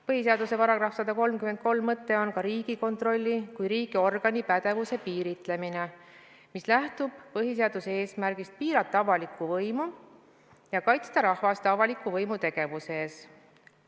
Põhiseaduse § 133 mõte on ka Riigikontrolli kui riigiorgani pädevuse piiritlemine, mis lähtub põhiseaduse eesmärgist piirata avalikku võimu ja kaitsta rahvast avaliku võimu tegevuse eest.